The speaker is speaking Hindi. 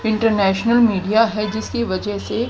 इंटरनेशनल मीडिया है जिसकी वजह से--